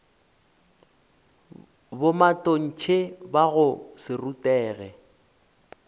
bomatontshe ba go se rutege